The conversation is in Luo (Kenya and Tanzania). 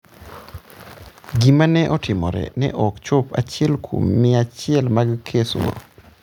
Gik ma ne otimore ne ok chop achiel kuom mia achiel mag kesgo.